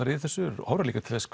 í þessu og horfa líka til þess